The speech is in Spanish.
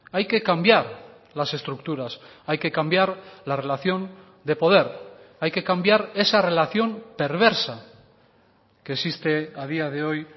hay que cambiar las estructuras hay que cambiar la relación de poder hay que cambiar esa relación perversa que existe a día de hoy